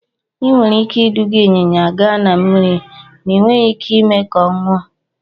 Ị nwere ike iduga ịnyịnya gaa na mmiri, ma ị nweghị ike ime ka ọ ṅụọ.